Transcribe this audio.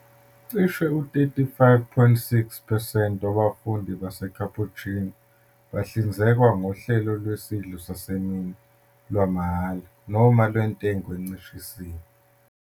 Cishe u-35.6 percent wabafundi baseCapuchino bahlinzekwa ngohlelo lwesidlo sasemini lwamahhala noma lwentengo encishisiwe.